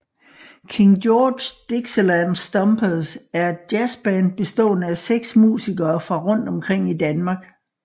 King George Dixieland Stompers er et jazzband bestående af seks musikere fra rundt omkring i Danmark